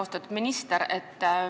Austatud minister!